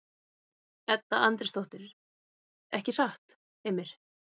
Edda Andrésdóttir:. ekki satt, Heimir?